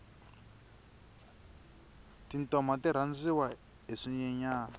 tintoma ti rhandziwa hi swinyenyani